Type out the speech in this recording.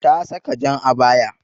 Ta saka jan abaya.